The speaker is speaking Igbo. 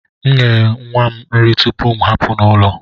M na enye nwa m nri tupu m ahapụ ụlọ.